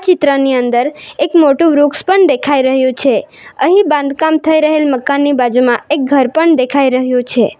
ચિત્રની અંદર એક મોટું વૃક્ષ પણ દેખાય રહ્યું છે અહીં બાંધકામ થઈ રહેલ મકાનની બાજુમાં એક ઘર પણ દેખાય રહ્યું છે.